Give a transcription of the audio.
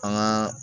An gaa